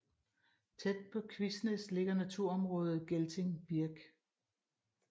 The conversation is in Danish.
Tæt på Kvisnæs ligger naturområdet Gelting Birk